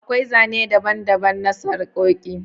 Akwai Zane daban-daban na sarƙoƙi.